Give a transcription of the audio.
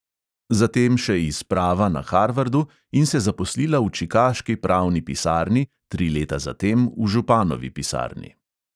Zatem še iz prava na harvardu in se zaposlila v čikaški pravni pisarni, tri leta za tem v županovi pisarni.